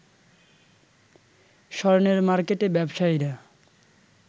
স্বর্ণের মার্কেটে ব্যবসায়ীরা